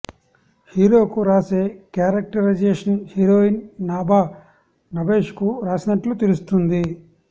హీరోకు రాసే characterisation heroine Nabha Natesh కు రాసినట్లు తెలుస్తుంది